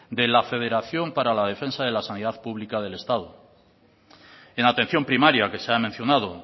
de la federación para la defensa de la sanidad pública del estado en atención primaria que se ha mencionado